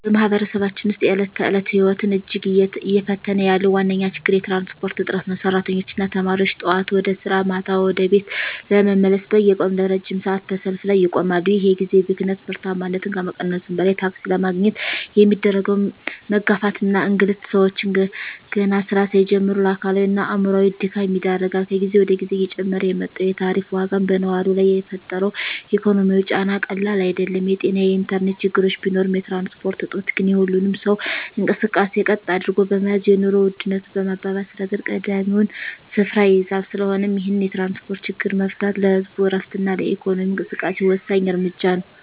በማኅበረሰባችን ውስጥ የዕለት ተዕለት ሕይወትን እጅግ እየፈተነ ያለው ዋነኛው ችግር የትራንስፖርት እጥረት ነው። ሠራተኞችና ተማሪዎች ጠዋት ወደ ሥራ፣ ማታ ደግሞ ወደ ቤት ለመመለስ በየቀኑ ለረጅም ሰዓታት በሰልፍ ላይ ይቆማሉ። ይህ የጊዜ ብክነት ምርታማነትን ከመቀነሱም በላይ፣ ታክሲ ለማግኘት የሚደረገው መጋፋትና እንግልት ሰዎችን ገና ሥራ ሳይጀምሩ ለአካላዊና አእምሮአዊ ድካም ይዳርጋል። ከጊዜ ወደ ጊዜ እየጨመረ የመጣው የታሪፍ ዋጋም በነዋሪው ላይ የፈጠረው ኢኮኖሚያዊ ጫና ቀላል አይደለም። የጤናና የኢንተርኔት ችግሮች ቢኖሩም፣ የትራንስፖርት እጦት ግን የሁሉንም ሰው እንቅስቃሴ ቀጥ አድርጎ በመያዝ የኑሮ ውድነቱን በማባባስ ረገድ ቀዳሚውን ስፍራ ይይዛል። ስለሆነም ይህንን የትራንስፖርት ችግር መፍታት ለህዝቡ ዕረፍትና ለኢኮኖሚው እንቅስቃሴ ወሳኝ እርምጃ ነው።